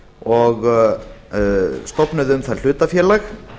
og stofnuðu um það hlutafélag